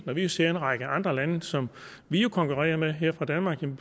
når vi ser en række andre lande som vi jo konkurrerer med her fra danmark vi